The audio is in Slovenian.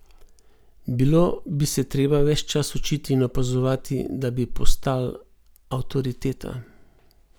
Bilo bi se treba ves čas učiti in opazovati, da bi postal avtoriteta.